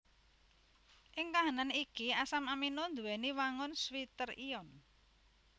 Ing kahanan iki asam amino nduwèni wangun zwitter ion